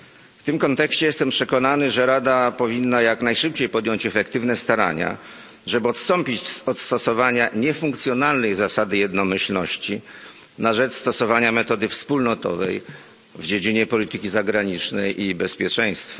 W tym kontekście jestem przekonany, że Rada powinna jak najszybciej podjąć efektywne starania, żeby odstąpić od stosowania niefunkcjonalnej zasady jednomyślności na rzecz stosowania metody wspólnotowej w dziedzinie polityki zagranicznej i bezpieczeństwa.